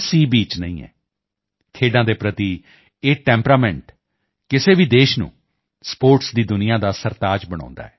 beach ਨਹੀਂ ਹੈ ਖੇਡਾਂ ਦੇ ਪ੍ਰਤੀ ਇਹੀ ਟੈਂਪਰਾਮੈਂਟ ਕਿਸੇ ਵੀ ਦੇਸ਼ ਨੂੰ ਸਪੋਰਟਸ ਦੀ ਦੁਨੀਆ ਦਾ ਸਰਤਾਜ ਬਣਾਉਂਦਾ ਹੈ